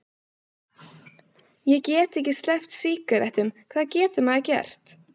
Ég get ekki sleppt sígarettunum, hvað getur maður gert?